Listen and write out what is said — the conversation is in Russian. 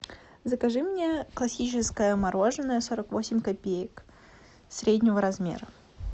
закажи мне классическое мороженое сорок восемь копеек среднего размера